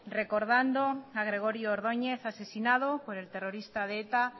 recordando a gregorio ordónez asesinado por el terrorista de eta